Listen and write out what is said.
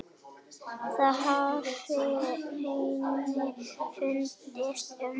Það hafi henni fundist um